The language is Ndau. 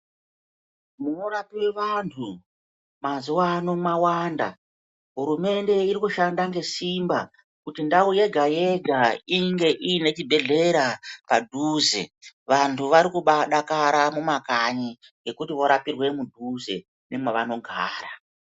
Munorapwe vantu mazuwaano mwawanda. Hurumende iri kushanda ngesimba kuti ndau yega yega inge ine chibhedhlera padhuze. Vantu vari kubadakara mumakanyi ngekuti vorapirwe mudhuze nemwavanogara.